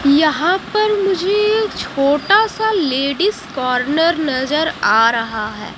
यहां पर मुझे छोटा सा लेडीज कॉर्नर नजर आ रहा है।